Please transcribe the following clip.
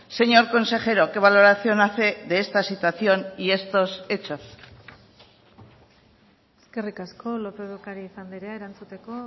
señor consejero qué valoración hace de esta situación y estos hechos eskerrik asko lópez de ocariz andrea erantzuteko